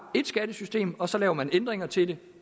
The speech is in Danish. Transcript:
skattesystem og så laver man ændringer til det